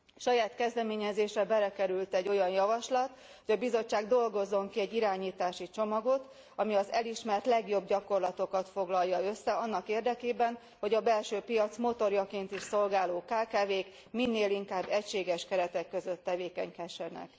Saját kezdeményezésre belekerült egy olyan javaslat, hogy a Bizottság dolgozzon ki egy irányítási csomagot, ami az elismert legjobb gyakorlatokat foglalja össze annak érdekében, hogy a belső piac motorjaként is szolgáló kkv k minél inkább egységes keretek között tevékenykedhessenek.